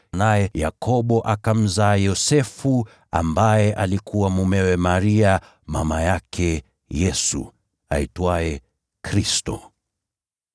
naye Yakobo akamzaa Yosefu ambaye alikuwa mumewe Maria, mama yake Yesu, aitwaye Kristo.